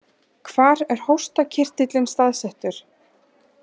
Hvar er hóstarkirtillinn staðsettur?